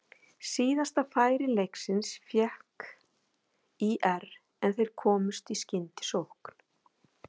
Síðasta færi leiksins fékk ÍR en þær komust í skyndisókn.